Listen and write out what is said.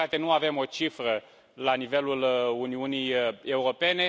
Din păcate, nu avem o cifră la nivelul Uniunii Europene.